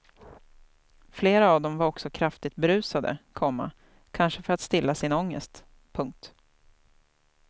Flera av dem var också kraftigt berusade, komma kanske för att stilla sin ångest. punkt